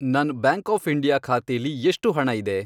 ನನ್ bank of India ಖಾತೆಲಿ ಎಷ್ಟು ಹಣ ಇದೆ?